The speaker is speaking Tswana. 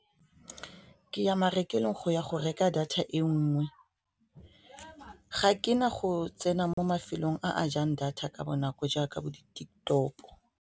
Ke ya marekelong go ya go reka data e nngwe ga ke na go tsena mo mafelong a jang data ka bonako jaaka bo di-TikTok.